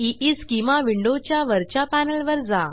ईस्केमा विंडोच्या वरच्या पॅनेलवर जा